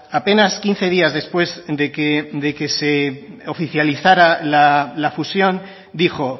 apenas quince días después de que se oficializara la fusión dijo